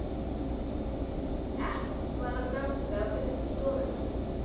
Nokkur þrep var að ganga upp í stofuna.